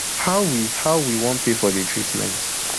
how we how we wan pay for di treatment